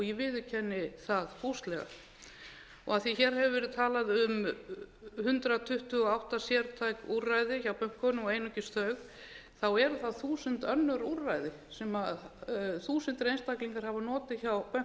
ég viðurkenni það fúslega af því að hér hefur verið talað um hundrað tuttugu og átta sértæk úrræði hjá bönkunum og einungis þau eru það þúsund önnur úrræði sem þúsundir einstaklinga hafa notið hjá bönkunum